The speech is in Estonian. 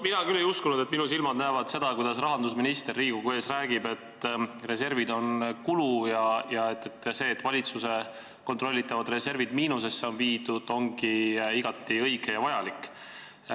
Mina küll ei uskunud, et minu silmad näevad seda, kuidas rahandusminister Riigikogu ees räägib, et reservid on kulu ja see, et valitsuse kontrollitavad reservid on miinusesse viidud, ongi igati õige ja vajalik.